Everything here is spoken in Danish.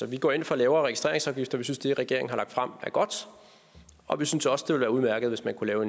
vi går ind for lavere registreringsafgifter vi synes at det regeringen har lagt frem er godt og vi synes også det være udmærket hvis man kunne lave